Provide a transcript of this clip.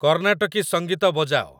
କର୍ଣାଟକି ସଙ୍ଗୀତ ବଜାଅ